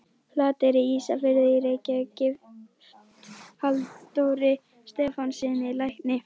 Flateyri, Ísafirði og í Reykjavík, gift Halldóri Stefánssyni lækni.